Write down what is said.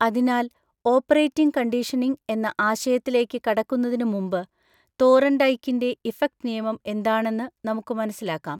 അതിനാൽ, operating conditioning എന്ന ആശയത്തിലേക്ക് കടക്കുന്നതിന് മുമ്പ്, തോർൻഡൈക്കിൻ്റെ ഇഫക്റ്റ് നിയമം എന്താണെന്ന് നമുക്ക് മനസ്സിലാക്കാം.